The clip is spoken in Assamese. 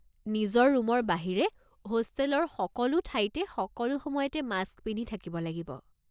নিজৰ ৰুমৰ বাহিৰে হোষ্টেলৰ সকলো ঠাইতে সকলো সময়তে মাস্ক পিন্ধি থাকিব লাগিব।